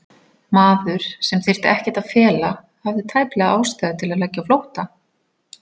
Maður, sem þyrfti ekkert að fela, hafði tæplega ástæðu til að leggja á flótta?